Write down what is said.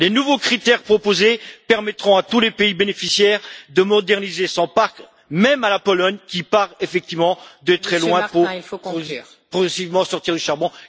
Les nouveaux critères proposés permettront à tous les pays bénéficiaires de moderniser leur parc, même à la Pologne qui part effectivement de très loin pour sortir progressivement du charbon.